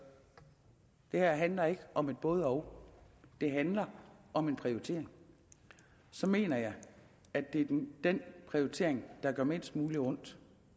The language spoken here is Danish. det her handler ikke om både og det handler om en prioritering og så mener jeg at det er den den prioritering der gør mindst muligt ondt